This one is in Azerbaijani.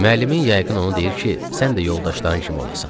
müəllimin yəqin onu deyir ki, sən də yoldaşların kimi olasan.